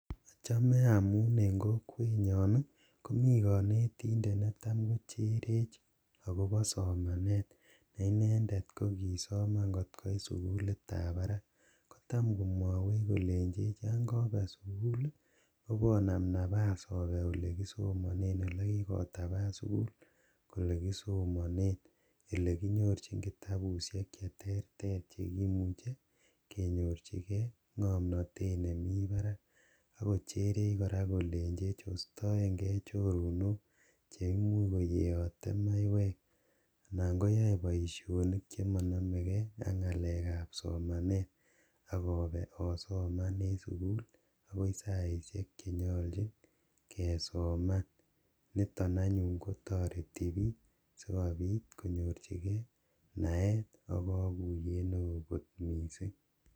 Ochome amun en kokwenyon nii komii konetindet netam kocherech akopo somanet ne inedet kokisoman kotkoit sukulit tab barak kotam komwowech kolenchech yon kobe sukuli oponam nafas obe ole kisomonen ole kikotapan sukul kole kisomonen ole kinyorchi kitabushe cheterter chekimuche kenyorjigee ngomnotet nemii barak ,ako cherech kora kolenjech ostoen gee choronok cheyeote maiywek anan koyoe boishonik chemonome gee ak ngalek ab somanet ak obe osoman en sukul akoi saishek chenyolchin kesoman niton anyun kotoreti bik skomuch konyorchi gee naet ak kokuyet neo missing.